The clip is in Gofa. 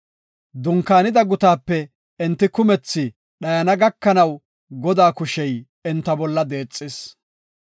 Dunkaanida gutaape enti kumethi dhayana gakanaw, Godaa kushey enta bolla deexis.